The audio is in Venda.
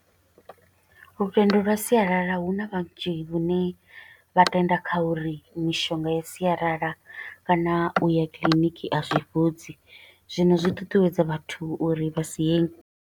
Lutendo lwa sialala, huna vhanzhi vhane vha tenda kha uri mishonga ya sialala, kana u ya kiḽiniki a zwi fhodzi. Zwino zwi ṱuṱuwedza vhathu uri vha si ye.